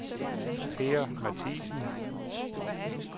Per Mathiesen